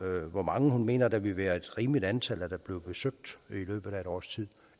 hvor mange hun mener der vil være et rimeligt antal der bliver besøgt i løbet af et års tid